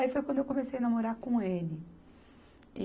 Aí foi quando eu comecei a namorar com ele. E